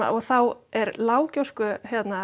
og þá er lág